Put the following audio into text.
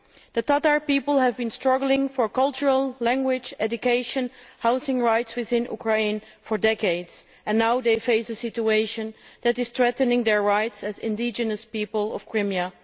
The Tatar people have been struggling for cultural, language, education and housing rights within Ukraine for decades, and now they face a situation that is threatening their rights as indigenous people of Crimea.